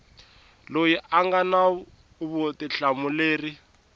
loyi a nga na vutihlamuleri